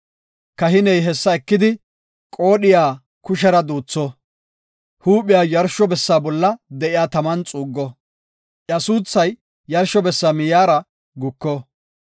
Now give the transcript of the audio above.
Kahiney hessa ekidi qoodhiya kushera duutho; huuphiya yarsho bessa bolla de7iya taman xuuggo. Iya suuthay yarsho bessa miyera guko.